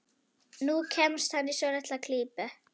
Nú kemst hann í svolitla klípu.